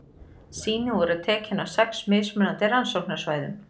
Sýni voru tekin á sex mismunandi rannsóknarsvæðum.